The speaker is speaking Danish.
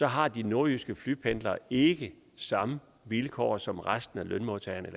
har de nordjyske flypendlere ikke samme vilkår som resten af lønmodtagerne